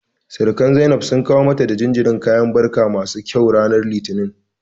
Sirikan Zainab sun kawo mata da jinjirin kayan barka masu kyau ranar Litinin.